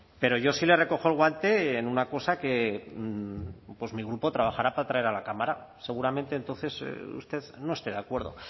pero yo sí le recojo el guante en una cosa que pues mi grupo trabajará para traer a la cámara seguramente entonces usted no esté de acuerdo